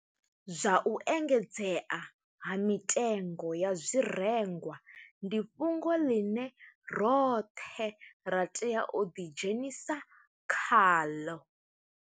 Zwa u engedzea ha mitengo ya zwirengwa ndi fhungo ḽine roṱhe ra tea u ḓidzhenisa khaḽo.